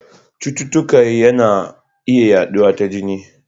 Cututtuka yana iya yaduwa ta jini.